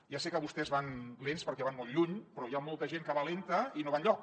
ja sé que vostès van lents perquè van molt lluny però hi ha molta gent que va lenta i no va enlloc